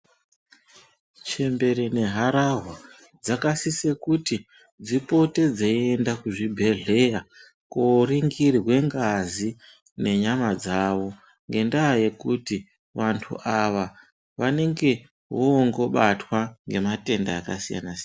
Chembere nehararwa dzakasise kuti dzipote dzeienda kuzvibhedhlera koringirwe ngazi nenyama dzavo. Ngendaa yekuti vantu vava vanongevonoobatwa ngematenda akasiyana-siyana.